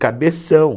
cabeção.